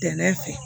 Dɛmɛ fɛ